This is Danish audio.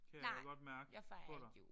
Nej jeg fejrer ikke jul